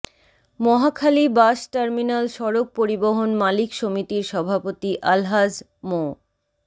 Mohakhali bus terminal সড়ক পরিবহন মালিক সমিতির সভাপতি আলহাজ মো